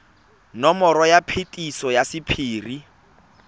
nomoro ya phetiso ya sephiri